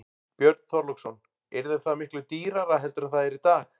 Björn Þorláksson: Yrði það miklu dýrara heldur en það er í dag?